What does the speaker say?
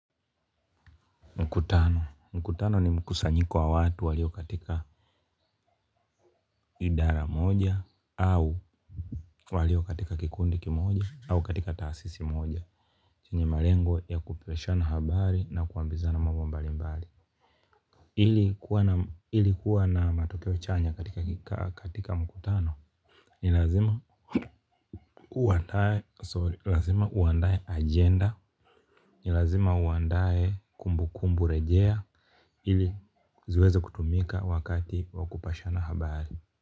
Mkutano, mkutano ni mkusanyiko wa watu walio katika idara moja au walio katika kikundi kimoja au katika taasisi moja chenye malengo ya kupishana habari na kuambizana mambo mbali mbali ili kuwa na matokeo chanya katika mkutano? Ni lazima uandae agenda ni lazima uandae kumbu kumbu rejea hili ziweze kutumika wakati wa kupashana habari.